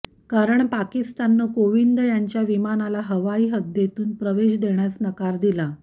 कारण पाकिस्ताननं कोविंद यांच्या विमानाला हवाई हद्दीतून प्रवेश देण्यास नकार दिला